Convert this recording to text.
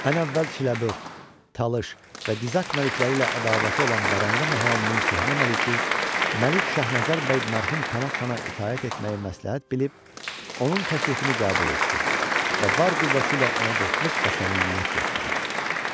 Ən əvvəl Çiləbörd, Talış və Dizak məlikləri ilə ədavəti olan Vərəndə mahalının köhnə məliki Məlik Şahnəzər bəy mərhum Pənah xana itaət etməyi məsləhət bilib, onun təklifini qəbul etdi və var qüvvəsi ilə ona dostluq və səmimiyyət göstərdi.